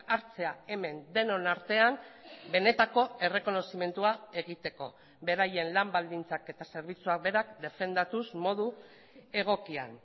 hartzea hemen denon artean benetako errekonozimendua egiteko beraien lan baldintzak eta zerbitzuak berak defendatuz modu egokian